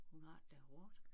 Hun har det da hårdt